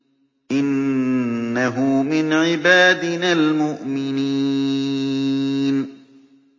إِنَّهُ مِنْ عِبَادِنَا الْمُؤْمِنِينَ